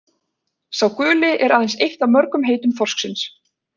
Sá guli er aðeins eitt af mörgum heitum þorsksins.